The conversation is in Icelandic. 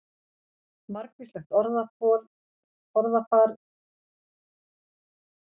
Margvíslegt orðafar er til um kaffisopann.